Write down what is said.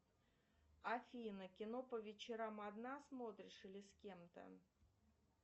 афина кино по вечерам одна смотришь или с кем то